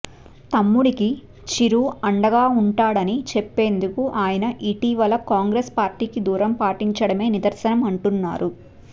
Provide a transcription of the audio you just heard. తమ్ముడికి చిరు అండగా ఉంటాడని చెప్పేందుకు ఆయన ఇటీవల కాంగ్రెస్ పార్టీకి దూరం పాటించడమే నిదర్శనం అంటున్నారు